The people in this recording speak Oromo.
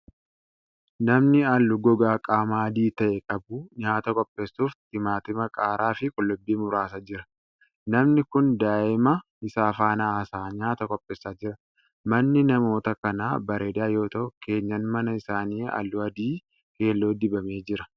Namni haalluu gogaa qaamaa adii ta'e qabu, nyaata qopheessuuf timaatima, qaaraa fi qullubbii muraa jira. Namni kun daaa'ima isaa faana haasa'aa nyaata qopheessaa jira. Manni namoota kanaa bareedaa yoo ta'u, keenyaan mana isaanii haalluu adii keelloo dibamee jira.